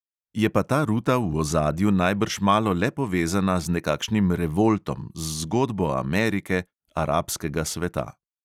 Je pa ta ruta v ozadju najbrž malo le povezana z nekakšnim revoltom, z zgodbo amerike, arabskega sveta.